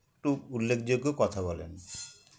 একটু উল্লেখযোগ্য কথা বলেন